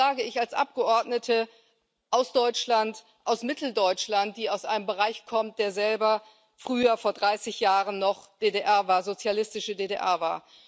Das sage ich als Abgeordnete aus Deutschland, aus Mitteldeutschland, die aus einer Gegend kommt, die selber früher vor 30 Jahren noch sozialistische DDR war.